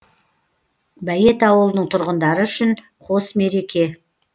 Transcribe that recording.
бәйет ауылының тұрғындары үшін қос мереке